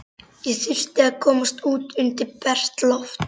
Ég þurfti að komast út undir bert loft.